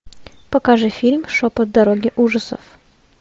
покажи фильм шепот дороги ужасов